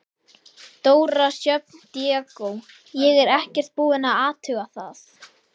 Dóra Sjöfn Diego: Ég er ekkert búin að athuga það?